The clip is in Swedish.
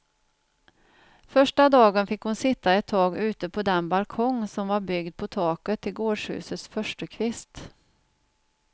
Första dagen fick hon sitta ett tag ute på den balkong, som var byggd på taket till gårdshusets förstukvist.